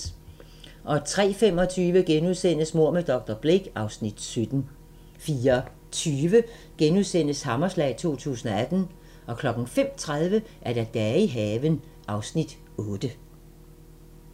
03:25: Mord med dr. Blake (Afs. 17)* 04:20: Hammerslag 2018 * 05:30: Dage i haven (Afs. 8)